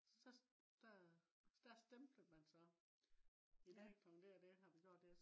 så der der stempler man så i dag klokken det og det har vi gjort det